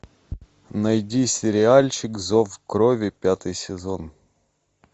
найди сериальчик зов крови пятый сезон